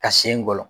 Ka sen gɔlɔ